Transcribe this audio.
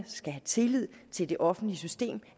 skal have tillid til det offentlige system